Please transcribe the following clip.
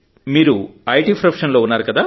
మీరు IT profession లో ఉన్నారు